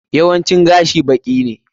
Yawancin gashi baki ne.